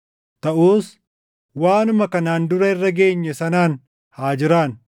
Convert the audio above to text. Taʼus waanuma kanaan dura irra geenye sanaan haa jiraannu.